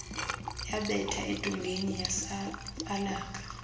yabetha edongeni yasabalaka